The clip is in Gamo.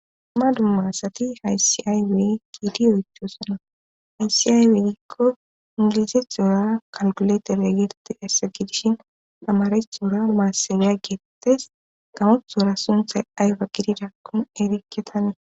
ma dummaasati haysiaywey giidi oychosona haysiayweegikko ingilize xooya kalkuleterwegerti hassa gidishin amare xora maasaweya geettes gamoxoora sunthay ayfa gidida kun erikketanie